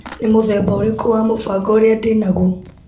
Nĩ mũthemba ũrikũ wa mũbango ũrĩa ndĩnaguo.